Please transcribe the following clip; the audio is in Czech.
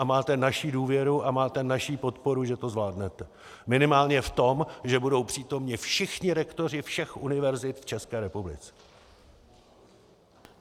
A máte naši důvěru a máte naši podporu, že to zvládnete minimálně v tom, že budou přítomni všichni rektoři všech univerzit v České republice.